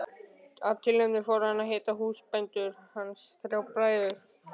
Af tilefninu fór hann að hitta húsbændur hans, þrjá bræður.